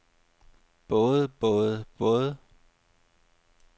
både både både